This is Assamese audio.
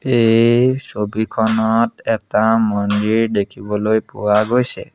এই ছবিখনত এটা মন্দিৰ দেখিবলৈ পোৱা গৈছে।